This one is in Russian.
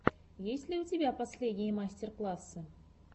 есть ли у тебя последние мастер классы